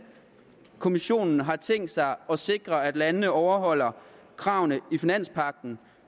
kommissionen har tænkt sig at sikre at landene overholder kravene i finanspagten